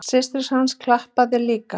Systir hans klappaði líka.